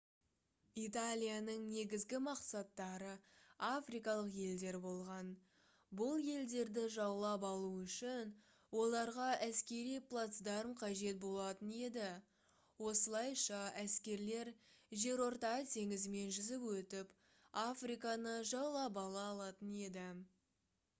италияның негізгі мақсаттары африкалық елдер болған бұл елдерді жаулап алу үшін оларға әскери плацдарм қажет болатын еді осылайша әскерлер жерорта теңізімен жүзіп өтіп африканы жаулап ала алатын еді